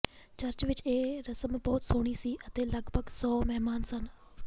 church ਵਿਚ ਇਹ ਰਸਮ ਬਹੁਤ ਸੋਹਣੀ ਸੀ ਅਤੇ ਲਗਭਗ ਸੌ ਮਹਿਮਾਨ ਸਨ